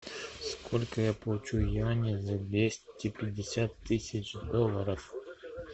сколько я получу юаней за двести пятьдесят тысяч долларов